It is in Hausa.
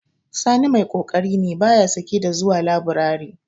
Sani mai ƙoƙari ne, ba ya sake da zuwa laburari.